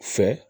Fɛ